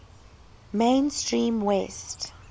main stream west